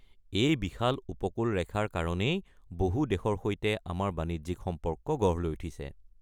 এই বিশাল উপকূল ৰেখাৰ কাৰণেই বহু দেশৰ সৈতে আমাৰ বাণিজ্যিক সম্পৰ্ক গঢ় লৈ উঠিছে।